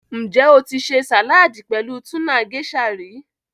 Njẹ́ o tì ṣè saládì pẹ̀lú túna Geisha rí?